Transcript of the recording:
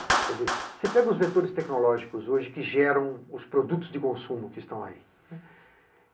Você pega os vetores tecnológicos hoje que geram os produtos de consumo que estão aí.